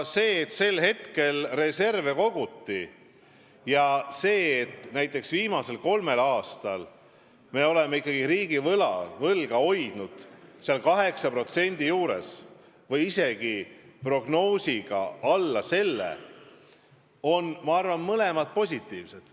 See, et tollal reserve koguti, ja see, et me viimasel kolmel aastal oleme ikkagi riigivõlga hoidnud 8% juures või isegi alla selle, on minu arvates mõlemad positiivsed.